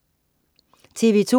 TV2: